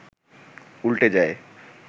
উল্টে যায়